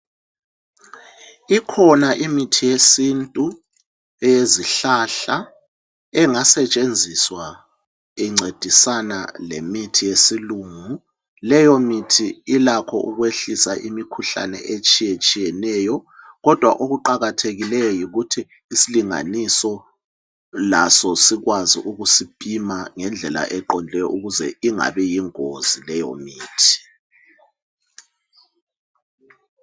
Ikhona imithi yesintu rngasetshenziswa incedisana lemithi yesilungu leyo mithi ilakho ukulwisa imikhuhlane etshiyatshiyeneyo kodwa okuqakathekileyo yikuthi isilinganiso laso sikwazi ukusiphima ngendlela eqondeleyo ukuze ingabi yingozi leyo mithi.